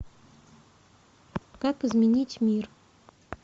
как изменить мир